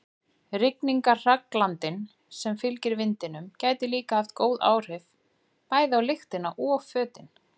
Rigningarhraglandinn sem fylgir vindinum gæti líka haft góð áhrif, bæði á lyktina og fötin.